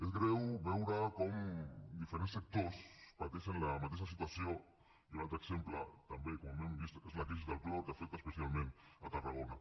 és greu veure com diferents sectors pateixen la mateixa situació i un altre exemple també com hem vist és la crisi del clor que afecta especialment tarragona